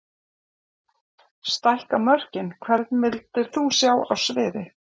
Stækka mörkin Hvern vildir þú sjá á sviði?